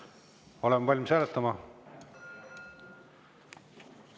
Kas oleme valmis hääletama?